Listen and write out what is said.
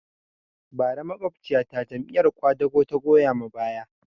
Bara makwabciya ta Jam'iyar ƙwadago ta goya ma baya